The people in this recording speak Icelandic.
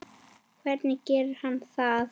Hvernig gerir hann það?